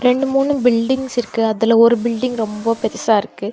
ரெண்டு மூணு பில்டிங்க்ஸ் இருக்கு அதுல ஒரு பில்டிங் ரொம்போ பெருசா இருக்கு.